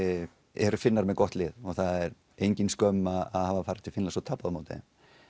eru Finnar með gott lið og það er engin skömm að hafa farið til Finnlands og tapað á móti þeim